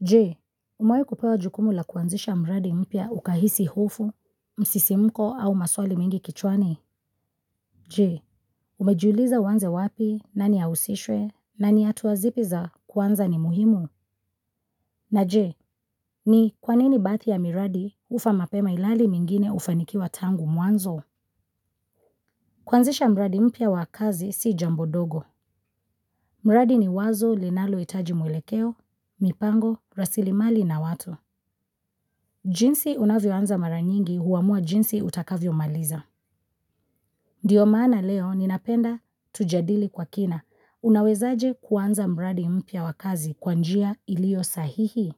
Je, umewahi kupewa jukumu la kuanzisha mradi mpya ukahisi hufu, msisimko au maswali mingi kichwani? Je, umejiuliza uanze wapi, nani ahusishwe, na ni hatua zipi za, kwanza ni muhimu? Na je, ni kwa nini baadhi ya miradi hufa mapema ilali mengine hufanikiwa tangu mwanzo? Kuanzisha mradi mpya wa kazi si jambo dogo. Mradi ni wazo linalo hitaji mwelekeo, mipango, rasilimali na watu. Jinsi unavyoanza mara nyingi huamua jinsi utakavyo maliza. Ndio maana leo ninapenda tujadili kwa kina. Unawezaji kuanza mradi mpya wa kazi kwa njia iliyo sahihi.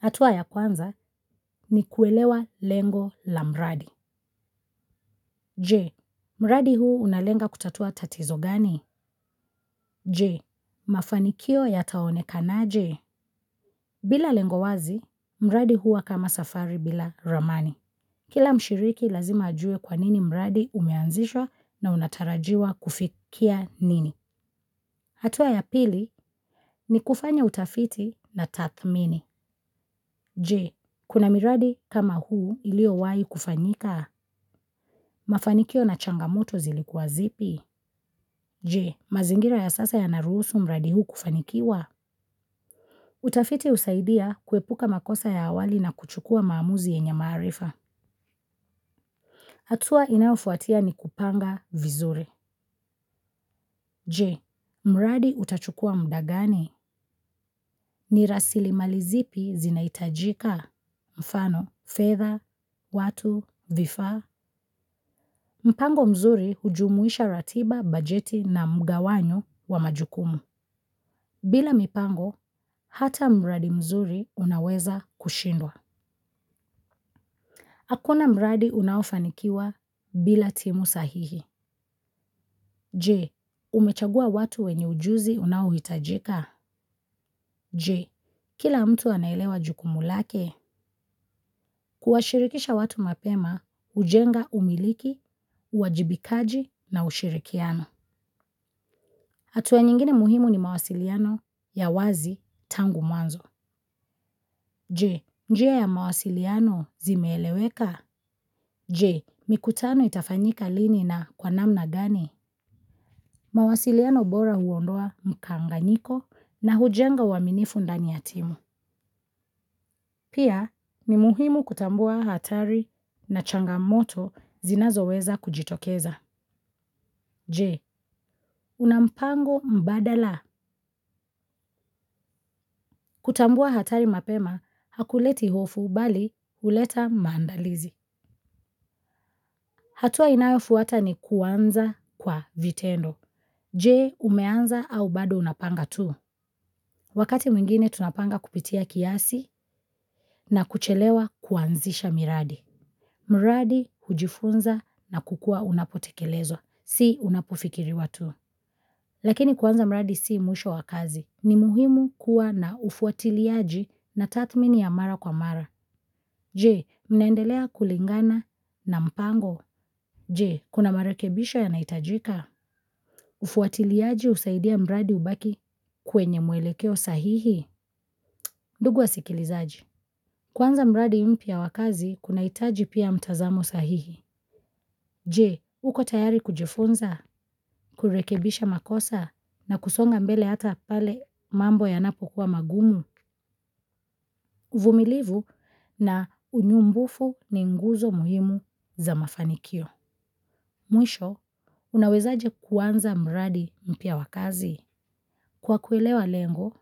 Hatua ya kwanza ni kuelewa lengo la mradi. Je, mradi huu unalenga kutatua tatizo gani? Je, mafanikio yataonekanaje? Bila lengo wazi, mradi huwa kama safari bila ramani. Kila mshiriki lazima ajue kwa nini mradi umeanzishwa na unatarajiwa kufikia nini. Hatua ya pili ni kufanya utafiti na tathmini. Je, kuna miradi kama huu ilio wahi kufanyika mafanikio na changamoto zilikuwa zipi. Je, mazingira ya sasa yanaruhusu mbradi huu kufanikiwa. Utafiti husaidia kuepuka makosa ya awali na kuchukua maamuzi yenye maarifa. Hatua inayofuatia ni kupanga vizuri. Je, mradi utachukua muda gani ni rasilimali zipi zinahitajika. Mfano fedha watu vifaa. Mpango mzuri hujumuisha ratiba bajeti na mgawanyo wa majukumu. Bila mpango, hata mradi mzuri unaweza kushindwa. Hakuna mradi unaofanikiwa bila timu sahihi. Je, umechagua watu wenye ujuzi unaohitajika? Je, kila mtu anaelewa jukumu lake, kuwashirikisha watu mapema, hujenga umiliki, uwajibikaji na ushirikiano. Hatua nyingine muhimu ni mawasiliano ya wazi tangu mwanzo. Je, njia ya mawasiliano zimeeleweka? Je, mikutano itafanyika lini na kwa namna gani? Mawasiliano bora huondoa mkanganyiko na hujenga uaminifu ndani ya timu. Pia ni muhimu kutambua hatari na changamoto zinazoweza kujitokeza. Je, una mpango mbadala. Kutambua hatari mapema hakuleti hofu bali huleta maandalizi. Hatua inayofuata ni kuanza kwa vitendo. Je umeanza au bado unapanga tu. Wakati mwingine tunapanga kupitia kiasi na kuchelewa kuanzisha miradi. Miradi hujifunza na kukua unapotekelezo. Si unapofikiriwa tu. Lakini kuanza mradi si mwisho wa kazi. Ni muhimu kuwa na ufuatiliaji na tathmini ya mara kwa mara. Je mnaendelea kulingana na mpango. Je, kuna marekebisho yanahitajika. Ufuatiliaji husaidia mradi ubaki kwenye mwelekeo sahihi. Ndugu wasikilizaji. Kuanza mradi mpya wa kazi kunahitaji pia mtazamo sahihi. Je, uko tayari kujifunza, kurekebisha makosa na kusonga mbele hata pale mambo ya napokuwa magumu. Uvumilivu na unyumbufu ni nguzo muhimu za mafanikio. Mwisho, unawezaje kuanza mradi mpya wa kazi. Kwa kuelewa lengo,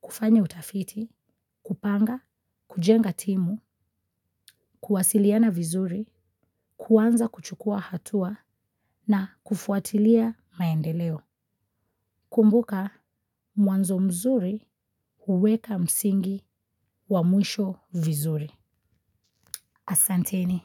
kufanya utafiti, kupanga, kujenga timu, kuwasiliana vizuri, kuanza kuchukua hatua na kufuatilia maendeleo. Kumbuka, mwanzo mzuri huweka msingi wa mwisho vizuri. Asanteni.